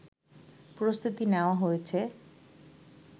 প্রস্তুতি নেওয়া হয়েছে